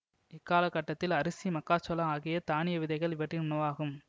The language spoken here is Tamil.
இக்காலக் கட்டத்தில் அரிசி மக்காச்சோளம் ஆகிய தானிய விதைகள் இவற்றின் உணவாகும்